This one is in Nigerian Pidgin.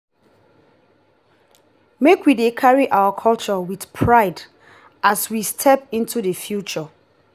make we dey carry our culture with pride as we step into the future.